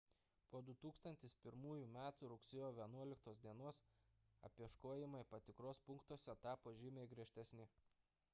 po 2001 m rugsėjo 11 d apieškojimai patikros punktuose tapo žymiai griežtesni